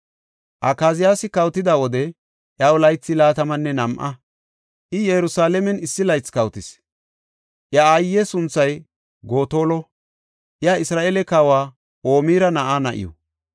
Akaziyaasi kawotida wode, iyaw laythi laatamanne nam7a; I Yerusalaamen issi laythi kawotis. Iya aaye sunthay Gotolo; iya Isra7eele kawa Omira na7aa na7iw.